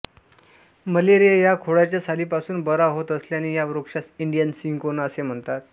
malaria या खोडाच्या सालीपासून बरा होत असल्याने या वृक्षास इंडियन सिंकोना असेही म्हणतात